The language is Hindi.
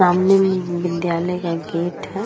सामने मे एक विद्यालय का गेट है ।